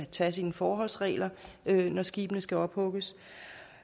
tage sine forholdsregler når skibene skal ophugges